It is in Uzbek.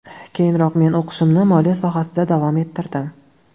Keyinroq men o‘qishimni moliya sohasida davom ettirdim.